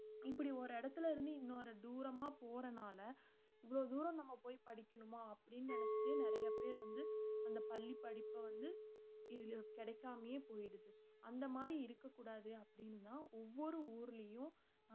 இப்படி ஒரு இடத்துல இருந்து இன்னொரு தூரமா போறனால இவ்வளவு தூரம் நம்ம போய் படிக்கணுமா அப்பிடின்னு நினைச்சுட்டே நிறைய பேர் வந்து அந்த பள்ளிப்படிப்பை வந்து கிடைக்காமலே போயிடுது அந்த மாதிரி இருக்கக்கூடாது அப்படின்னுதான் ஒவ்வொரு ஊர்லயும்